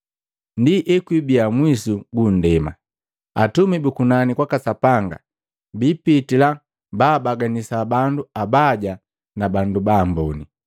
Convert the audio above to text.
Ndi ekwibiya mwisu gu nndema, Atumi bu kunani kwaka Sapanga bipitila, baabaganisa bandu abaya na bandu baamboni,